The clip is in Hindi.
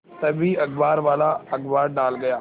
तभी अखबारवाला अखबार डाल गया